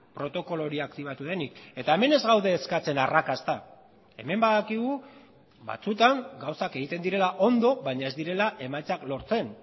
protokolo hori aktibatu denik eta hemen ez gaude eskatzen arrakasta hemen badakigu batzutan gauzak egiten direla ondo baina ez direla emaitzak lortzen